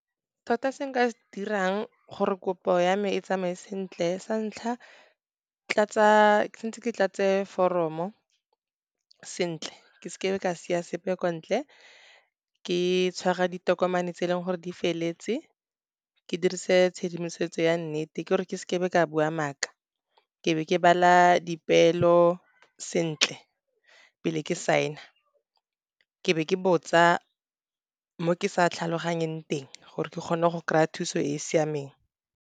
Tota se nka se dirang gore kopo ya me e tsamaye sentle, santlha tswantse ke tlatse foromo sentle, ke seke ka be ka sia sepe kwa ntle, ke tshwara ditokomane tse e leng gore di feletse, ke dirise tshedimosetso ya nnete, ke gore ke seke ka bua maaka. Ke be ke bala dipeelo sentle pele ke saena, ke be ke botsa mo ke sa tlhaloganyeng teng gore ke kgone go kry-a thuso e siameng.